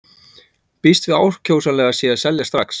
Býst við að ákjósanlegast sé að selja strax.